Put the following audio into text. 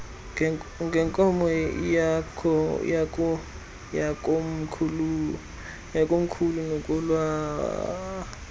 ngenkomo yakomkhulu nokwala